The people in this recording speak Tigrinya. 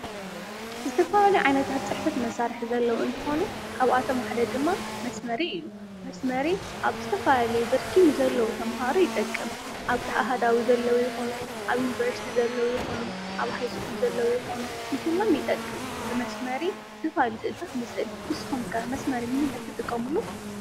ዝተፈላለዩ ዓይነታት ፅሕፈት መሳርሒ ዘለዉ እንትኾኑ ካብኣቶም ሓደ ድማ መስመሪ እዩ፡፡ መስመሪ ኣብ ዝተፈላለየ ብርኪ ንዘለዉ ተመሃሮ ይጠቅም፡፡ ኣብ ኣሃዳዊ ዘለዉ ይኹኑ ኣብ ዩኒቨርሲቲ ዘለዉ ይኹኑ ኣብ ሃይስኩል ዘለዉ ይኹኑ ንኹሎም ይጠቅም፡፡ ብመስመሪ ዝተፈላለዩ ስእልታት ንስእል፡፡ ንስኹም ከ መስመሪ ንምንታይ ትጥቀምሉ?